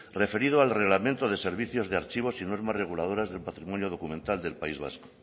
referido al reglamento de servicios de archivos y normas reguladoras del patrimonio documental del país vasco